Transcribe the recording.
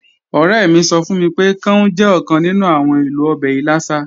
Ọ̀rẹ́ mi sọ fún mi pé, káún jẹ́ ọ̀kan nínú àwọn èlò ọbẹ̀ ìlàsà